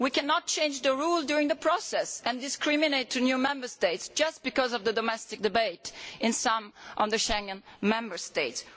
We cannot change the rules during the process and discriminate against new Member States just because of the domestic debate in some of the Schengen Member States.